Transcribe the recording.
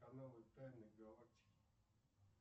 каналы тайны галактики